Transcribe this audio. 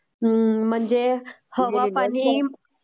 हम्म्म म्हणजे हवा, पाणी, माती..